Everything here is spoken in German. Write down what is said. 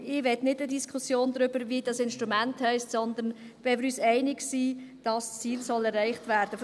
ich will keine Diskussion darüber, wie dieses Instrument heisst, sondern, dass wir uns einig sind, dass das Ziel erreicht werden soll.